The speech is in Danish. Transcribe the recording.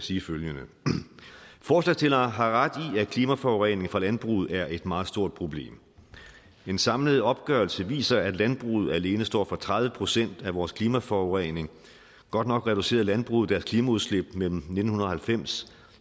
sige følgende forslagsstillerne har ret i at klimaforurening fra landbruget er et meget stort problem en samlet opgørelse viser at landbruget alene står for tredive procent af vores klimaforurening godt nok reducerede landbruget deres klimaudslip mellem nitten halvfems